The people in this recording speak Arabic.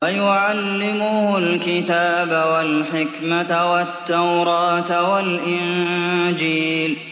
وَيُعَلِّمُهُ الْكِتَابَ وَالْحِكْمَةَ وَالتَّوْرَاةَ وَالْإِنجِيلَ